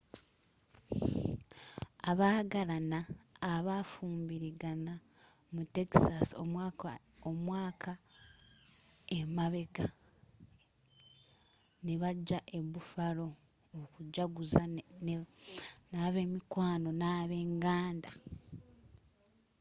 abagalaana abafumbuligana mu texasi omwaka emabega nebajja eh buffalo okujjaguza na bemikwano nabenganda